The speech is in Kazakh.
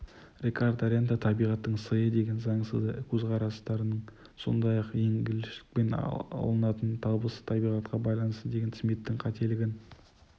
рикардо рента табиғаттың сыйы деген заңсыз көзқарастарын сондай ақ егіншіліктен алынатын табыс табиғатқа байланысты деген смиттің қателігін